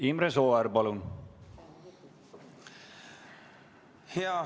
Imre Sooäär, palun!